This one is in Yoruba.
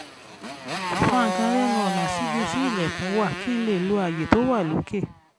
fa nǹkan lẹ́nu ọ̀nà síbi tí ilẹ̀kùn wà kí n lè lo àyè tó wà lókè